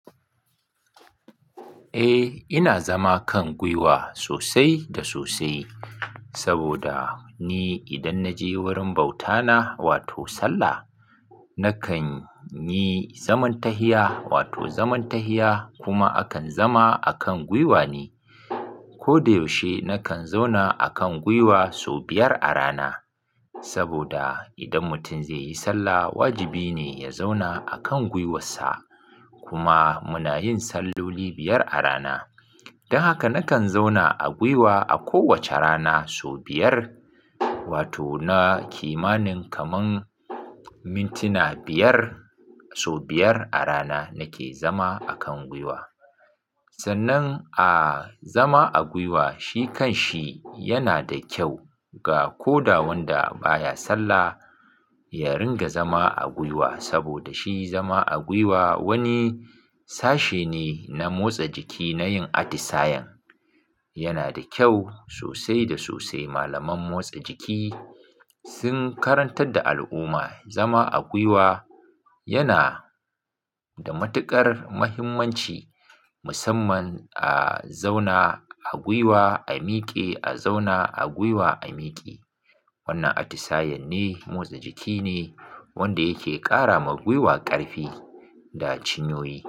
Eh ina zama kan gwiwa sosai da sosai saboda ni idan na je wurin bauta na wato sallah, na kan yi zaman tahiya wato zaman tahiya kuma akan zama akan gwiwa ne. Ko da yaushe na kan zauna akan gwiwa sau biyar a rana saboda idan mutum zai yi sallah, wajibi ne ya zauna akan gwiwarsa. Kuma muna yin salloli biyar a rana don haka na kan zauna a gwiwa a kowace rana sau biyar wato na kimanin kaman mintuna biyar, sau biyar a rana nake zama akan gwiwa. Sannan a zama a gwiwa shi kan shi yana da kyau ga koda wanda baya sallah ya ringa zama a gwiwa saboda shi zama a gwiwa wani sashe ne na motsa jiki na yin atisayen. Yana da kyau sosai da sosai. Malaman motsa jiki sun karantar da al'umma zama a gwiwa yana da matuƙar muhimmanci musamman a zauna a gwiwa, a miƙe, a zauna a gwiwa, a miƙe. Wannan atisayen ne, motsa jiki ne wanda yake ƙara ma gwiwa ƙarfi da cinyoyi.